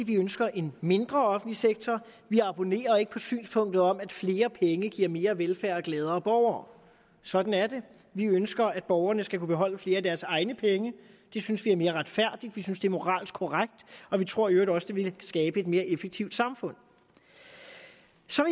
vi ønsker en mindre offentlig sektor vi abonnerer ikke på synspunktet om at flere penge giver mere velfærd og gladere borgere sådan er det vi ønsker at borgerne skal kunne beholde flere af deres egne penge det synes vi er mere retfærdigt vi synes det moralsk korrekt og vi tror i øvrigt også at det vil skabe et mere effektivt samfund